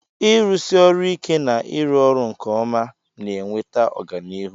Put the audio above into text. ịrụsi ọrụ ike na ịrụ ọrụ nke ọma na-eweta ọganihu